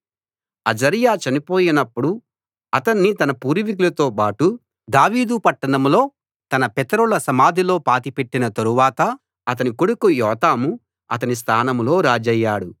అజర్యా చనిపోయినప్పుడు అతణ్ణి తన పూర్వీకులతోబాటు దావీదు పట్టణంలో తన పితరుల సమాధిలో పాతిపెట్టిన తరువాత అతని కొడుకు యోతాము అతని స్థానంలో రాజయ్యాడు